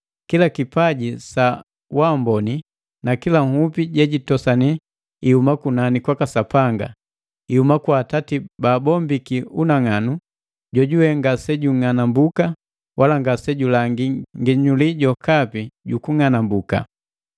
Kila kipaji sa amboni na kila nhupi jejitosani ihuma kunani kwaka Sapanga, ihuma kwa Atati baabombiki unang'anu, jojuwe ngasejung'anambuka wala ngasejulangi nginyuli jokapi jukung'anambuka.